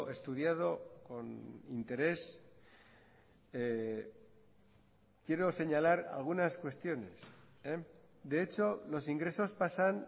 estudiado con interés quiero señalar algunas cuestiones de hecho los ingresos pasan